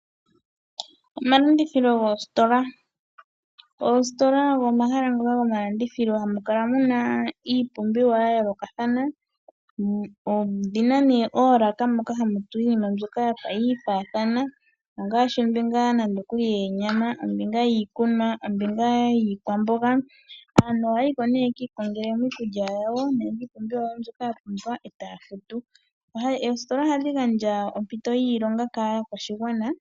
Omalandithilo goositola. Oositola ogo omahala ngoka gomalandithilo haga kala ge na iipumbiwa ya yoolokathana. Odhi na oolaka moka hamu tulwa iinima mbyoka ya fa yiifaathana ngaashi ombinga yo onyama, ombinga yiikunwa, ombinga yiikwamboga. Aantu ohaya yi ko ye ki ikongele mo iikulya yawo nenge iipumbiwa yawo mbyoka ya pumbwa e taa futu. Oositola ohadhi ohadhi gandja ompito yiilonga kaakwashigwana.